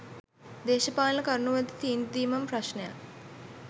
දේශපාලන කරුණු වලදි තීන්දු දීමම ප්‍රශ්නයක්